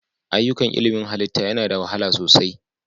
Ayyukan ilmin halitta yana da wahala sosai.